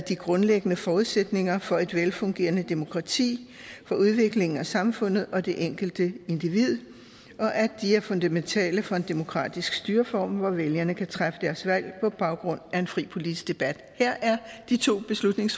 de grundlæggende forudsætninger for et velfungerende demokrati for udviklingen af samfundet og det enkelte individ og at de er fundamentale for en demokratisk styreform hvor vælgerne kan træffe deres valg på baggrund af en fri politisk debat her er de to